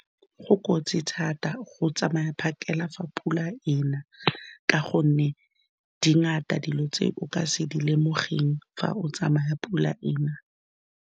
Go kotsi thata go tsamaya phakela fa pula e na, ka gonne dingata dilo tse o ka se di lemogeng fa o tsamaya pula ena.